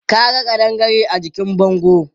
Ka ga ƙadangare a jikin bangon?